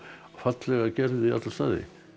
fallega gerð í alla staði